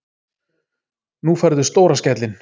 Nú færðu stóra skellinn.